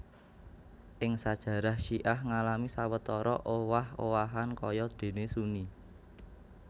Ing sajarah syiah ngalami sawetara owah owahan kaya déné Sunni